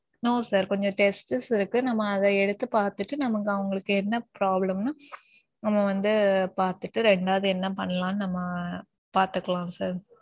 no sir. கொஞ்சம் tests இருக்கு நம்ம அதே எடுத்து பாத்துட்டு நாம இங்க அவங்களுக்கு என்ன problem ன்னு நம்ம வந்து பாத்துட்டு ரெண்டாது நாம என்ன பண்ணலாம்னு பாத்துக்கலாம் sir.